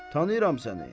Tanıyıram səni.